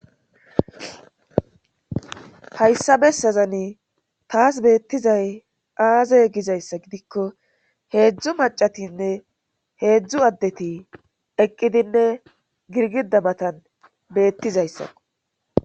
Hayssa bessazani taas beettizay aaze gizayssa gidikko heedzdzu macatinne heedzdzu addeti eqqidinne girgida matan beettizayssakko